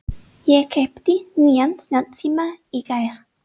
Ég keypti nýjan snjallsíma í gær.